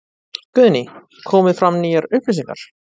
Guðný: Komið fram nýjar upplýsingar?